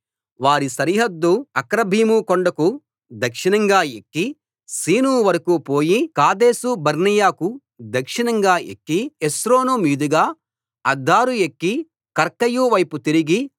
వారి సరిహద్దు అక్రబ్బీము కొండకు దక్షిణంగా ఎక్కి సీను వరకూ పోయి కాదేషు బర్నేయకు దక్షిణంగా ఎక్కి హెస్రోను మీదుగా అద్దారు ఎక్కి కర్కాయు వైపు తిరిగి